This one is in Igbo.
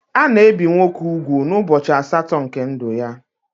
Ana ebi nwoke úgwù n'ubọchi asatọ nke ndụ ya.